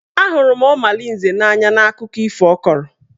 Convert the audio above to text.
A hụrụ m Ọmalinze n'anya n'akụkọ ifo ọ kọrọ.